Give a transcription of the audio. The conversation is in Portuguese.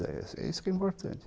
É é isso que é importante.